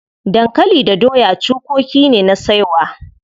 Dankali da doya cukoki ne na saiwa.